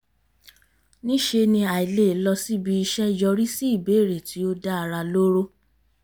níṣe ni àìlè lọ síbi iṣẹ́ yọrí sí ìbéèrè tí ó dá ara lóró